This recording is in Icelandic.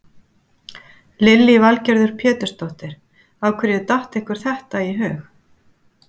Lillý Valgerður Pétursdóttir: Af hverju datt ykkur þetta í hug?